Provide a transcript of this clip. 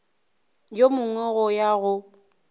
yo mongwe go ya go